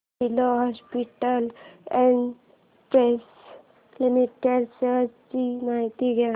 Apollo hospitals enterprise limited shares ची माहिती द्या